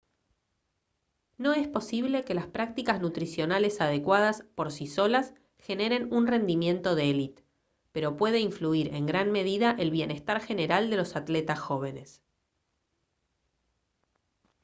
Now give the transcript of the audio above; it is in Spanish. no es posible que las prácticas nutricionales adecuadas por sí solas generen un rendimiento de elite pero puede influir en gran medida el bienestar general de los atletas jóvenes